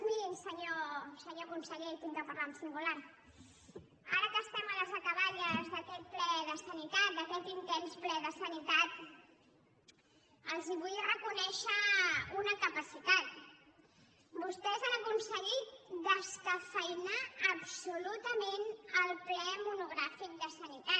miri senyor conseller i haig de parlar en singular ara que estem a les acaballes d’aquest ple de sanitat d’aquest intens ple de sanitat els vull reconèixer una capacitat vostès han aconseguit descafeïnar absolutament el ple monogràfic de sanitat